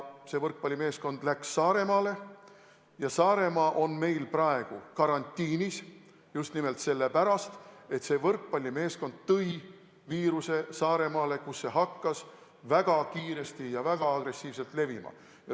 See võrkpallimeeskond läks Saaremaale ja Saaremaa on meil praegu karantiinis just nimelt selle pärast, et see võrkpallimeeskond tõi viiruse Saaremaale, kus see hakkas väga kiiresti ja väga agressiivselt levima.